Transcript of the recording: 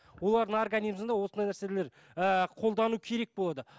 олардың организімінде осындай нәрселер ііі қолдану керек болады